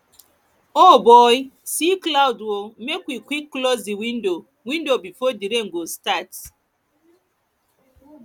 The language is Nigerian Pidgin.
o boy see cloud o make we quick close di window window before di rain go start